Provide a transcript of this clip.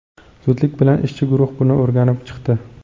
Zudlik bilan ishchi guruh buni o‘rganib chiqdi.